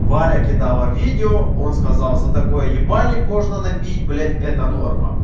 варя кидала видео он сказал за такое ебальник можно набить блять это норма